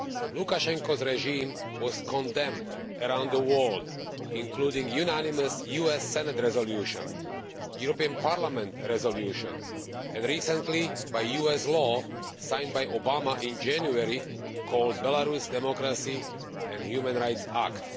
Lukashenko's regime was condemned around the world, including by a unanimous US Senate resolution, a European Parliament resolution and, recently, a US law signed by Mr Obama in January called the Belarus Democracy and Human Rights Act.